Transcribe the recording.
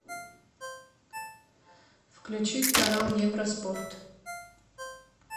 включить канал евроспорт